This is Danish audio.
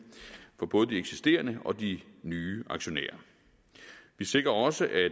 for både de eksisterende og de nye aktionærer vi sikrer også at